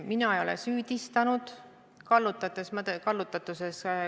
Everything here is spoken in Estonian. Mina ei ole süüdistanud Kaarel Tarandit kallutatuses.